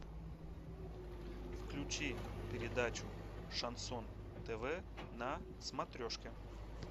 включи передачу шансон тв на смотрешке